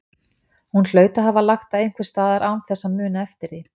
Hún hlaut að hafa lagt það einhvers staðar án þess að muna eftir því.